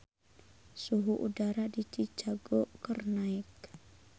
Suhu udara di Chicago keur naek